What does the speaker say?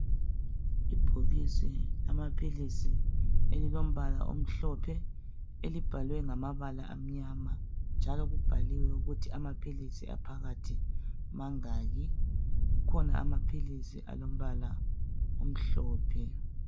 Ibhokisi elamaphilisi elilompala omhlophe elibhalwe ngamabala amnyama njalo kubhaliwe ukuthi amaphilisi phakathi mangaki kukhona amaphilisi alompala omhlophe.